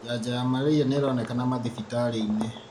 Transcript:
Janjo ya malaria nĩironeka mathibitarĩinĩ.